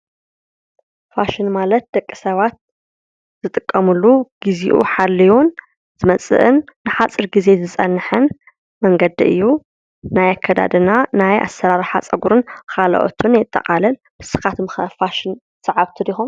ፋሽን ማለት ደቂ ሰባት ዝጥቀምሉ ግዚኡ ሓልዩን ዝመፅእን ንሓፂር ግዜ ዝፀንሕን መንገዲ እዩ። ናይ ኣከዳድና ፣ናይ ኣሰራርሓ ፀጉሪን ካልኦትን የጠቓልል ንስኻትኩምከ ፋሽን ሰዓብቲ ዲኹም ?